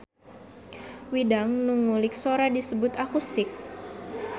Widang nu ngulik sora disebut akustik.